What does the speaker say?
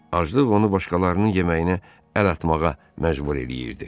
Aclıq onu başqalarının yeməyinə əl atmağa məcbur eləyirdi.